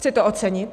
Chci to ocenit.